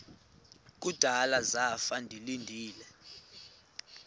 kudala zafa ndilinde